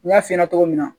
N y'a f'i ɲɛna cogo min na